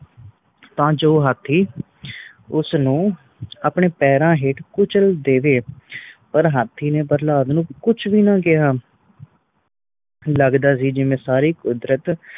ਤਾ ਜੋ ਹਾਥੀ ਉਸ ਨੂੰ ਆਪਣੇ ਪੈਰਾਂ ਹੇਠ ਕੁਚਲ ਦੇਵੇ ਪਰ ਹਾਥੀ ਨੇ ਪ੍ਰਹਲਾਦ ਨੂੰ ਕੁਛ ਵੀ ਨਾ ਕਿਹਾ ਲੱਗਦਾ ਸੀ ਜਿਵੇ ਸਾਰੀ ਕੁਦਰਤ